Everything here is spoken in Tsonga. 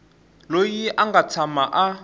loyi a nga tshama a